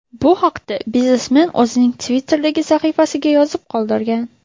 Bu haqda biznesmen o‘zining Twitter’dagi sahifasiga yozib qoldirgan .